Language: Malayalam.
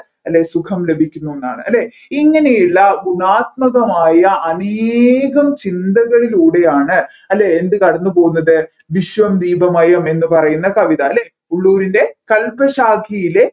അല്ലെ സുഖം ലഭിക്കുന്നുന്നാണ് അല്ലെ ഇങ്ങനെയുള്ള അനേകം ചിന്തകളിലൂടെയാണ് അല്ലെ എന്ത് കടന്നുപോവ്വുന്നത് വിശ്വം ദീപമഴം എന്ന പറയുന്ന കവിത അല്ലെ ഉള്ളൂരിൻറെ കൽപശാഖിയിലെ